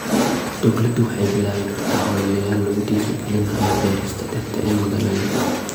Dawladdu waxay bilaabi kartaa ololeyaal lagu dhiirigelinayo beerista dhirta ee magaalooyinka.